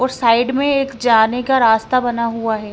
और साइड में एक जाने का रास्ता बना हुआ हैं।